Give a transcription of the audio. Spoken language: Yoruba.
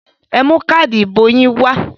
Ẹ mú káádì ìbò yín wá!